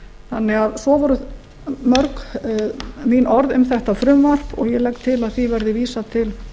staðnum eru svo voru mörg mín orð um þetta frumvarp og ég legg til að því verði vísað til